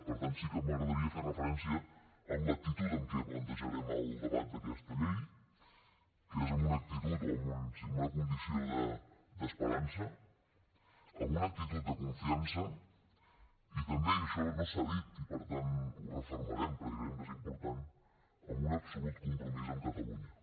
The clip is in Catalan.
per tant sí que m’agradaria fer referència a l’actitud amb què plantejarem el debat d’aquesta llei que és amb una actitud o amb una condició d’esperança amb una actitud de confiança i també i això no s’ha dit i per tant ho refermarem perquè creiem que és important amb un absolut compromís amb catalunya